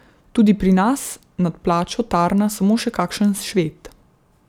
Tudi pri nas nad plačo tarna samo še kakšen Šved.